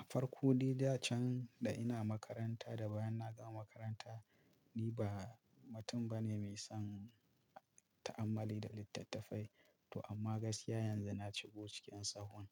A farko, dai da can da ina makaranta da bayan na gama makaranta, ni ba mutum bane mai son ta'ammali da littattafai. To amma gaskiya yanzu na shigo cikin tsahon.